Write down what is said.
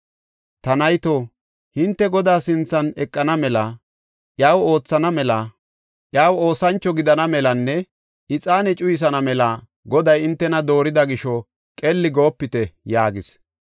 Ta nayto, hinte Godaa sinthan eqana mela, iyaw oothana mela, iya oosancho gidana melanne ixaane cuyisana mela Goday hintena doorida gisho qelli goopite” yaagis.